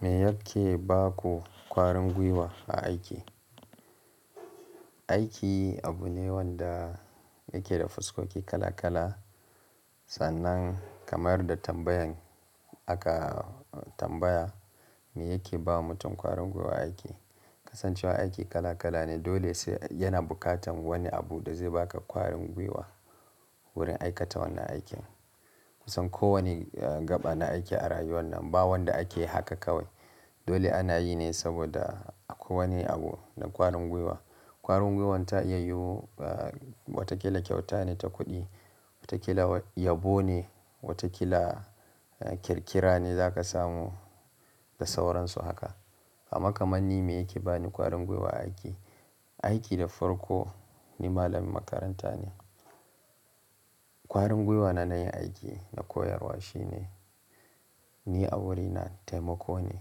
Me yake ba ku ƙwarin gwiwa a aiki? Aiki abu ne wanda yake da fuskoki kala kala, sannan kamar da tambayan aka tambaya me yake ba mutum ƙwarin gwiwa aiki. Kasancewar aiki kala kala ne dole sai yana buƙatan wani abu da zai baka ƙwarin gwiwa wurin aikata wannan aikin. Kusan kowani gaɓa na aiki a rayuwan nan ba wanda ake yi haka kawai. Dole ana yi ne saboda akwai wani abu na ƙwarin gwiwa. Ƙwarin gwiwan ta iya yiwu wataƙila kyauta ne ta kuɗi, wataƙila yabo ne, wataƙila ƙirƙira ne za ka samu da sauransu haka. Amma kaman ni me yake bani ƙwarin gwiwa a aiki, aiki da farko ni malamin makaranta ne. Ƙwarin gwiwa na yin aiki na koyarwa shine ni a wuri na taimako ne,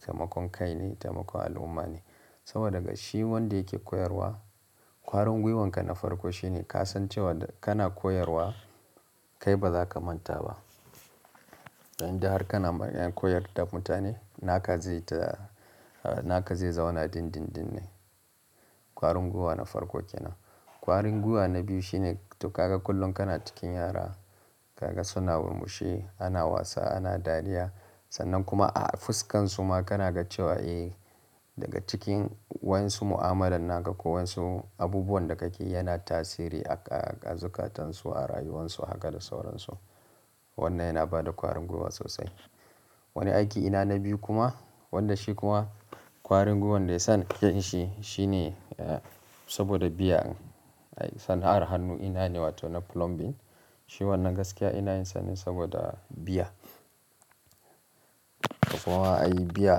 taimakon kai ne, taimakon al'umma ne. Saboda daga shi wanda yake koyarwa ƙwarin gwiwanka na farko shine ka san cewa da kana koyarwa kai ba za ka manta ba. Idan har kana mararin koyarwa da mutane naka zai ta-- naka zai zauna din-din-din ne. Ƙwarin gwiwa na farko kenan. Ƙwarin gwiwa na biyu shine to ka ga kullum kana cikin yara, ka ga suna murmushi, ana wasa, ana dariya sannan kuma a fuskansu ma kana ga cewa eh daga cikin waɗansu mu'amalar naka ko waɗansu abubuwan da ka ke yana tasiri a zukatan su, a rayuwan su haka da sauran su. Wannan yana bada ƙwarin gwiwa sosai. Wani aiki ina na biyu kuma wanda shi kuma ƙwarin gwiwan da ya sa nake yinshi shine saboda biya. San'ar hannu ina yi wato na plumbing. Shi wannan gaskiya ina yin sa ne saboda biya. Ta, ai biya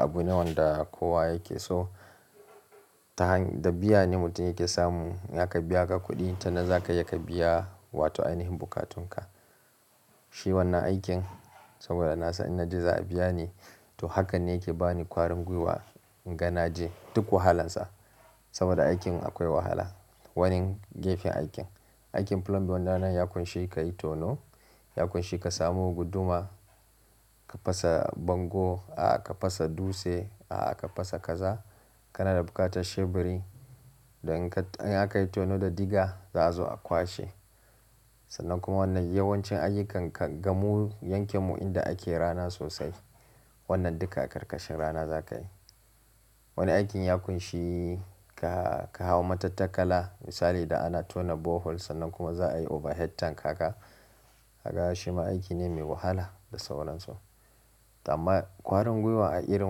abu ne wanda kowa yake so. Ta hany-- da biya ne mutum yake samu. In aka biya ka kuɗi ta na za ka iya ka biya wato ainihin buƙatun ka. Shi wannan aikin saboda na san in na je za a biya ni to hakan ne yake bani ƙwarin gwiwa in ga na je duk wahalansa. Saboda aikin akwai wahala. Wani gefen aikin. Aikin plumbing wannan yan shi ka yi tono, yakun shi ka samu guduma, ka fasa bango, a'a ka fasa dutse, a'a ka fasa kaza. Kana da buƙatar sheburi. Dan in ka, in aka yi tono da diga da'azo a kwashe. Sannan kuma wannan yawancin ayyukan ka ga mu yankin mu inda ake rana sosai. Wannan duka a karkashin rana za ka yi. Wani aikin yaƙun shi ka, ka hau matattakala misali idan ana tona borehole sannan kuma za a yi overhead tank haka. Ka ga shi ma aiki ne mai wahala da sauran su. Toh amma ƙwarin gwiwa a irin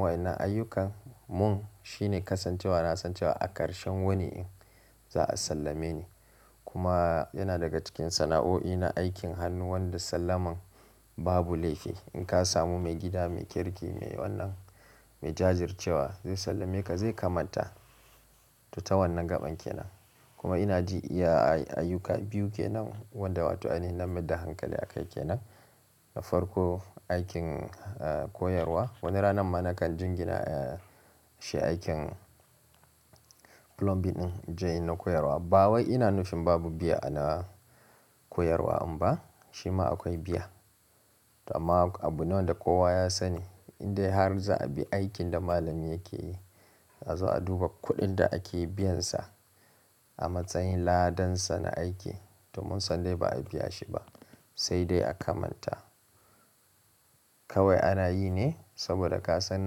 waɗannan ayyukan mun shine kasancewa na san cewa a ƙarshen wauni ɗin za a sallame ni. Kuma yana daga cikin sana'o'i na aikin hannu wanda sallaman babu laifi. In ka samu mai gida, mai kirki, mai wannan, mai jajircewa zai sallame ka zai kamalta. To ta wannan gaɓan kenan. Kuma ina ji iya ayyuka biyu kenan wanda wato ainihin na mayar da hankali a kai kenan. Na farko aikin koyarwa. Wani ranar ma na kan jingina shi aikin plumbing din in je inayi na koyarwa. Ba wai ina nufin babu biya a na koyarwa ɗin ba amma shi ma akwai biya. Toh amma abu ne wanda kowa ya sani indai har za a bi aikin da malami yake yi za azo a duba kuɗin da ake biyansa a matsayin ladansa na aiki to mun san dai ba a biya shi ba sai dai a kamalta. Kawai ana yi ne saboda ka san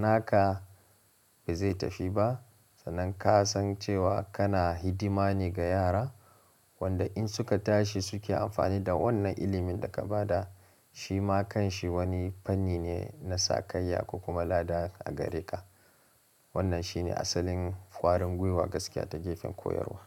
naka ba zai tafi ba. Sannan ka san cewa kana hidima ne ga yara wanda in suka tashi suke amfani da wannan ilimin da ka ba da shi ma kan shi wani fanni ne na sakayya ko kuma lada a gare ka. Wannan shi ne asalin ƙwarin gwiwa gaskiya ta gefen koyarwa.